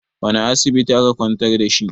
wane asibiti aka kwantar da shi?